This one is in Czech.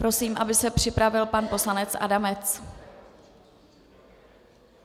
Prosím, aby se připravil pan poslanec Adamec.